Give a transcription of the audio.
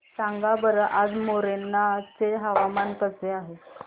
सांगा बरं आज मोरेना चे हवामान कसे आहे